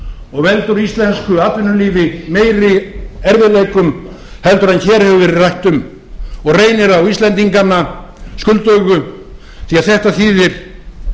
og veldur íslensku atvinnulífi meiri erfiðleikum en hér hefur verið rætt um og reynir á íslendingana skuldugu því að þetta þýðir